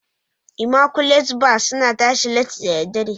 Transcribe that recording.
"immaculate bar" suna tashi latti da dare.